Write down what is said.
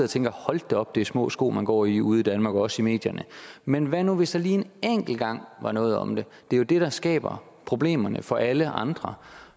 tænker hold da op det er små sko man går i ude i danmark og også i medierne men hvad nu hvis der lige en enkelt gang var noget om det det er jo det der skaber problemerne for alle andre